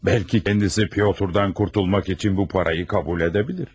Bəlkə özü Pyotrdan qurtulmaq üçün bu pulu qəbul edə bilər.